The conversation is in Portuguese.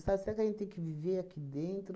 Sabe, será que a gente tem que viver aqui dentro?